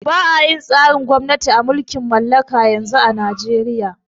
Ba'a yin tsarin gwamnati na mulkin mallaka yanzu a najeria